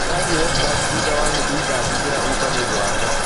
Ndĩrathiĩ Westlands thutha wa nuthu ithaa jigĩra uber nĩ ũndũ wakwa